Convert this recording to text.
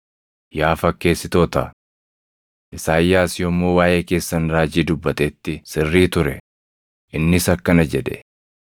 Yaa fakkeessitoota! Isaayyaas yommuu waaʼee keessan raajii dubbatetti sirrii ture; innis akkana jedhe: